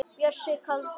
Bjössi kaldi.